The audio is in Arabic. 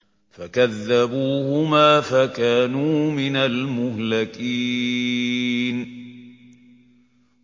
فَكَذَّبُوهُمَا فَكَانُوا مِنَ الْمُهْلَكِينَ